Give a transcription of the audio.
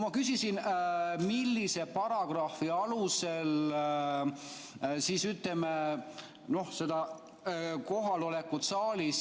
Ma küsisin, millise paragrahvi alusel peab kohalolekut saalis